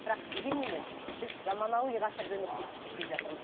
бірақ дегенменен біз заманауи ғасырда өмір сүріп келе жатырмыз